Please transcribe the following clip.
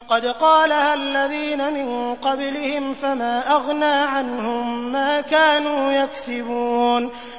قَدْ قَالَهَا الَّذِينَ مِن قَبْلِهِمْ فَمَا أَغْنَىٰ عَنْهُم مَّا كَانُوا يَكْسِبُونَ